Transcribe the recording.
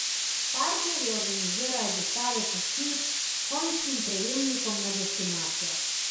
Partnerji organizirajo dostave pošiljk končnim prejemnikom na destinacijah.